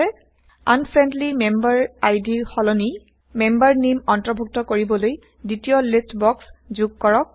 unfriendly member I D ৰ সলনি member name অন্তৰ্ভূক্ত কৰিবলৈ দ্বিতীয় লিষ্ট বক্স যোগ কৰক